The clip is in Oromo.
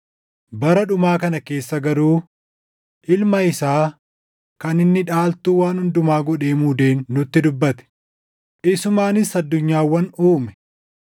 bara dhumaa kana keessa garuu Ilma isaa kan inni dhaaltuu waan hundumaa godhee muudeen nutti dubbate; isumaanis addunyaawwan uume.